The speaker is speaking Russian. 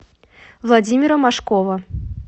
владимира машкова